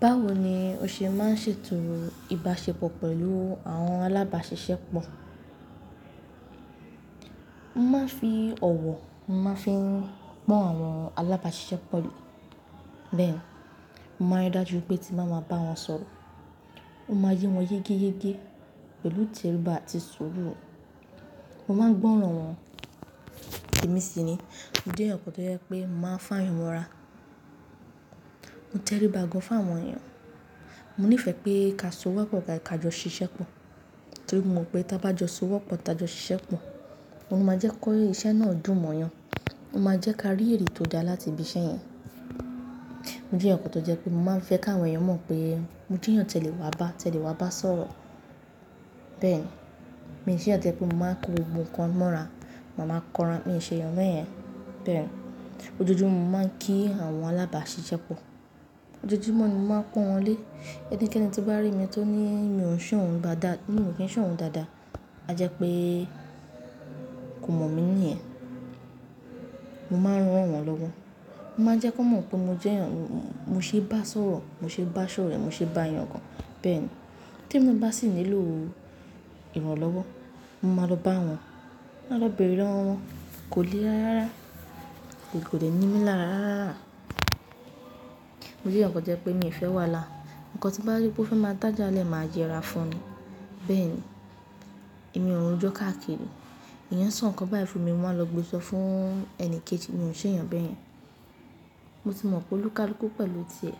Báwo ni o ṣe máa ń ṣètò ìbáṣepọ̀ pẹ̀lú àwọn alábàáṣiṣẹ́ pọ̀? Mo máa ń fi ọ̀wọ̀, mo máa ń fi pọ́n àwọn alábáṣiṣẹ́pọ̀ lé. Bẹ́ẹ̀ni, mo máa rí dájú wipé tí nba máa bá wọn sọ̀rọ̀, ó máa yé wọn yégéyégé pẹ̀lú ìtẹríba àti sùúrù. Mo máa ń gbọ́ràn wọ́n, èmi sì nìyí, mo jẹ́ eyan kan tó jẹ́ pé mo máa ń fayan mọ́ra. Mo tẹríba gan fún àwọn èèyàn. Mo ní ìfẹ́ pé ká so wọ́pọ̀ ká jọ ṣiṣẹ́ pọ̀ torí mo mọ̀ pé tí a bá jọ so wọ́pọ̀, tá jọ ṣiṣẹ́ pọ̀, ó máa jẹ́ kó iṣẹ́ náà dùn mọ́ èèyàn, ó máa jẹ́ ká rí ère tó dá láti ibi iṣẹ́ yẹn. Mo jẹ́ ẹ̀yàn kan tó jẹ́ pé mo máa ń fẹ́ káwọn èèyàn mọ̀ pé mo jẹ́ ẹ̀yàn tẹ́lẹ̀ wá bá, tẹ́lẹ̀ wá bá sọ̀rọ̀. Bẹ́ẹ̀ni, mi ṣe ẹ̀yàn tó jẹ́ pé mo máa ń ko gbogbo ǹkan mọ́ra, ma máa kanra. Mi ò ṣe ẹ̀yàn bẹ́ẹ̀ yẹn. Bẹ́ẹ̀ni, ojoojúmọ́ ni mo máa ń kí àwọn alábáṣiṣẹ́ pọ̀. Ojoojúmọ́ ni mo máa ń pọ́n wọn lé. Ẹnikẹ́ni tí bá rí mi tó ní mi ò ń ṣòhun dáadáa, ní mi kì í ṣòhun dáadáa, a jẹ́ pé kò mọ̀ mí ní ẹ̀. Mo máa ń ràn wọ́n lọ́wọ́. Mo máa ń jẹ́ kí wọ́n mọ̀ pé mo jẹ́ ẹ̀yàn, mo ṣe bá sọ̀rọ̀, mo ṣe ba sore, mo ṣe bá yàn gan. Bẹ́ẹ̀ ni, tí mo bá sì nílò ìrànlọ́wọ́, mo máa lọ bá wọn, máa lọ bèrè lọ́wọ́ wọn, kò le lára rárá. Kò de ní mi lára rárá. Mo jẹ́ ẹ̀yàn kan tó jẹ́ pé mi ò fẹ́ wà lá. Ǹkan tí bá wípé ó fẹ́ máa dája lẹ̀, màá yẹ́ ra fún ni. Bẹ́ẹ̀ni, èmi o ro jo káàkiri. Èèyàn sọ ǹkan báyìí fún mi, mo máa lọ gbé sọ fún ẹni kejì mi o ṣe ẹ̀yàn bẹ́ẹ̀ yẹn. Mo sì mọ̀ pé olúkálúkú pẹ̀lú ti ẹ̀,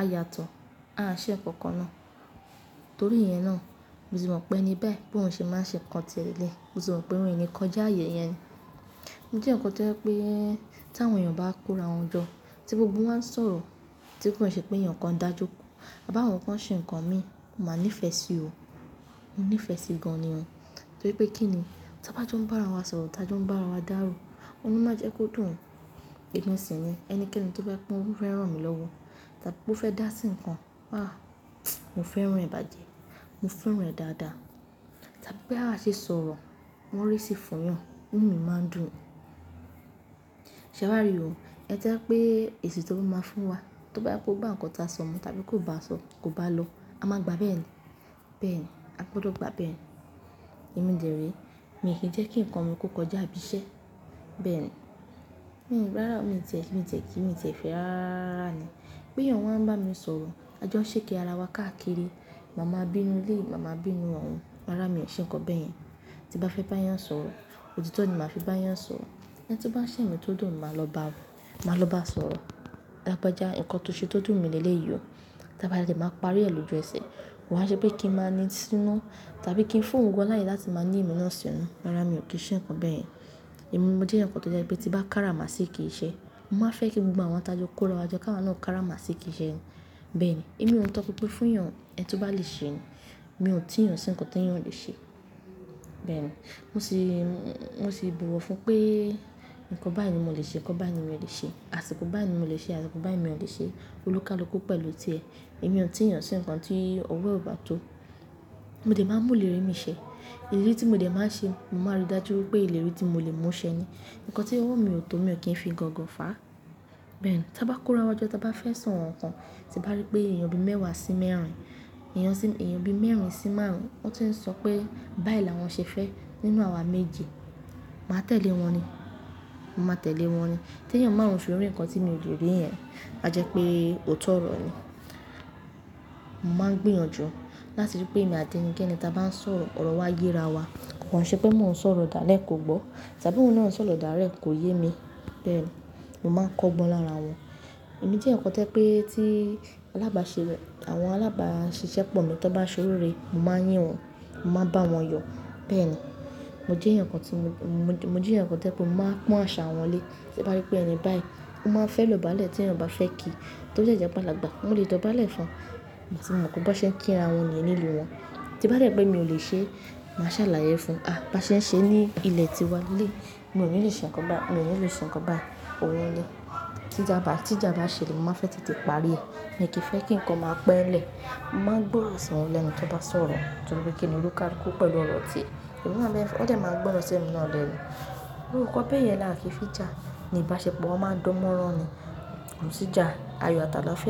a yàtọ̀, a ṣẹ̀ ǹkan kan náà. Torí ìyẹn náà, mo sì mọ̀ pé ẹni báyìí bó ń ṣe máa ṣe ǹkan tiẹ́ leleyi, mo tì mọ̀ pé mi ni kọjá ààyè yẹn. Mo jẹ́ ẹ̀yàn kan tó jẹ́ pé tí àwọn èèyàn bá kórawọ́ jọ, tí gbogbo wọn ń sọ̀rọ̀, tí kò n ṣẹ́ pé èèyàn kan dá joko, à bá àwọn kan ṣe ǹkan mi, mo máa nífẹ̀ẹ́ sí o. Mo nifẹ sí gán ni o torí pé kí ni, tí a bá tí ó ń bá wa sọ̀rọ̀, tá tí ó ń bá wa dáàró, ó ní máa jẹ́ kó dùn. E mi sì ni ẹnikẹ́ni tó fẹ́ kó fẹ́ràn mi lọ́wọ́, tàbí bó fẹ́ dá sí ǹkan, àá, mo fẹ́ràn rẹ̀ bàjẹ́, mo fẹ́ràn rẹ̀ dáadáa. Tàbí pé àá ṣé sọ̀rọ̀, wọ́n rí sí fọyàn, inú mi máa ń dùn. Ṣé wa rí o, ẹ jẹ́ pé èsì tó bá máa fún wa, tó bá yá pé ó bá ǹkan ta sọ mu tàbí kó bá sọ, kò bá lọ, a máa gbà bẹ́ẹ̀ ni. Bẹ́ẹ̀ ni, a gbọdọ̀ gbà bẹ́ẹ̀ ni. Èmi dẹ̀ re, mi kí ń jẹ́ kí ǹkan mi kò kọjá ibi iṣẹ́. Bẹ́ẹ̀ ni, hìh, rárá mi tẹ̀, mi tẹ̀ kí, mi tẹ̀ ìfẹ́ rárá rárá ni. Bóyá eyan wa n bámi sọ̀rọ̀, ajo saki ara wá káàkiri ma máa n bínú eleyi ma máà bínú oun rárá mi o ṣe ǹkan beyen tí n bá fẹ́ bá èèyàn sọ̀rọ̀, òtítọ́ ni màá fi bá èèyàn sọ̀rọ̀. Ẹni tí bá ṣẹ̀ mọ́ tó dùn, màá lọ bá, màá lọ bá sọ̀rọ̀. Lágbájá ǹkan tó ṣe tó dùn mi lẹ́lẹ́yìí o. Tà bá a dẹ̀ màá parí ẹ lójú ẹsẹ̀. Wàá jẹ́ pé kí n máa ní sínú tàbí kí n fu ouǹ gan láyè láti máa ní èmi náà sínú. Rárá mi ò kí n ṣe ǹkan bẹ́ẹ̀ yẹn. Èmi mo jẹ́ ẹ̀yàn kan tó jẹ́ pé tí bá kára máa ṣí kí iṣẹ́, mo máa fẹ́ kí gbogbo àwọn tá jọ kórawọ́ jọ ká máa náà kára máa ṣí kí iṣẹ́ ni. Bẹ́ẹ̀ ni, èmi ò ń tọ́ pínpín fún èèyàn, ẹni tó bá lè ṣe ni. Mi ò tí èèyàn sí ǹkan tí èèyàn lè ṣe. Bẹ́ẹ̀ ni, mo sì, mo sì buwọ́ fún pé ǹkan báyìí ni mo lè ṣe, ǹkan báyìí ni mi ò lè ṣe. Àṣìkò báyìí ni mo lè ṣe, àṣìkò báyìí mi ò lè ṣe. Olúkálúkú pẹ̀lú ti ẹ̀, èmi ò tí èèyàn sí ǹkan tí ọwọ́ e ò bá tó. Mo dé máa ń mú ìlérí mi ṣẹ ìlérí tí mo dẹ̀ máa ń ṣe, mo máa rí dájú pé ìlérí tí mo lè mú ṣẹ ni. Ǹkan tí owó mi ò tó mi ò kí ń fi gọ̀ǹgọ̀ fà á. Bẹ́ẹ̀ ni, tí a bá kórawọ́ jọ, tí a bá fẹ́ san ǹkan, tí bá rí pé èèyàn bi mẹ́wàá sí mẹ́rin, èèyàn bi mẹ́rin sí márùn-ún, ó ti ń sọ pé báyìí làwọn ṣe fẹ́ nínú àwa méje. Màá tẹ̀lé wọn ni. Màá tẹ̀lé wọn ni. Tí èèyàn márùn fi rí ǹkan tí mi ò le rí yẹn, a jẹ́ pé ò tọ̀ ọ̀rọ̀ ni. Mo máa ń gbìyànjú láti rí pé èmi àti ẹnikẹ́ni tí a bá ń sọ̀rọ̀ ọ̀rọ̀ wá yé ra wa. Kò ṣe pé mò ń sọ̀rọ̀ dáale kò gbọ́ tàbí òun náà ń sọ̀rọ̀ daale kò yé mi. Mo máà ń kọ́ gbọ́n lára wọn. Èmi jẹ́ ẹ̀yàn kan tó jẹ́ pé tí alábáṣepọ̀, àwọn alábáṣiṣẹ́ pọ̀ mọ́, tí wọ́n bá soriré, mo máa ń yín wọn, mo máa ń bá wọn yọ. Bẹ́ẹ̀ ni, mo jẹ́ ẹ̀yàn kan tí mo, mo jẹ́ ẹ̀yàn kan tó jẹ́ pé mo máa ń pọ́n àṣà wọn lé. Tí n bá rí pé ẹni báyìí ó máà ń fẹ́ ìdọ̀bálẹ̀ tí èèyàn bá fẹ́ kí tó dé jẹ́ wípé alàgbà, mo lè dọ̀bálẹ̀ fún mo sì mọ̀ pé bó ṣe ń kí ara wọn ni nínú ìlú wọn. Tí bá rẹ pé mi ò lè ṣe é, màá ṣàlàyé fún un. "Ah! Bá ṣe ń ṣe ní ilẹ̀ tíwa lé. Mi ò ní lè ṣe ǹkan bá, mi ò ní lè ṣe ǹkan bá. O rẹ́lẹ̀." Tí ìjà bá ṣẹlẹ̀, mo màá n fẹ́ te te parí rẹ̀. Èèyàn tó fẹ́ kí n kàn ma pe n le mo máà ń gbọ́rọ̀ sí wọn lẹ́nu tó bá sọ̀rọ̀ torípé kíni? Oníkálukú pẹ̀lú ọ̀rọ̀ tiẹ̀, òun ná wọ́n dẹ̀ máà ń gbọ́rọ̀ sí èmi náà lẹ́nu ǹkan bẹ́ yẹn làá fi ki jà ní ìbáṣepọ̀, wa máa ń dan mọ́ran ni. Kò sì jà, àyọ̀ àti àlàáfíà.